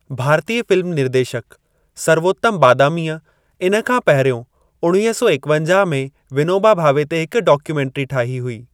भारतीय फ़िल्म निर्देशक सर्वोत्तम बादामीअ इन खां पहिरियों उणिवीह सौ एकवंजाह में विनोबा भावे ते हिक डॉक्यूमेंट्री ठाही हुई।